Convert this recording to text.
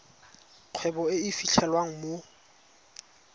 kgwebo e e fitlhelwang mo